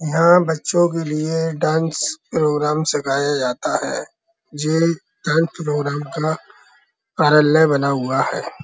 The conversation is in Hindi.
यहाँ बच्चो के लिए डांस प्रोग्राम सिखाया जाता है। ये डांस प्रोग्राम का कार्यालय बना हुआ है।